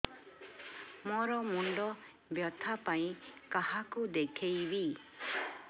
ମୋର ମୁଣ୍ଡ ବ୍ୟଥା ପାଇଁ କାହାକୁ ଦେଖେଇବି